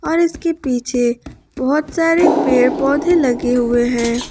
और इसके पीछे बहोत सारे पेड़ पौधे लगे हुए हैं।